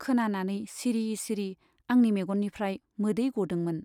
खोनानानै सिरि सिरि आंनि मेगननिफ्राइ मोदै गदोंमोन।